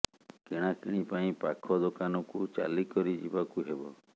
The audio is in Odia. କିଣାକିଣି ପାଇଁ ପାଖ ଦୋକାନକୁ ଚାଲି କରି ଯିବାକୁ ହେବ